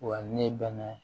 Wa ne bɛnna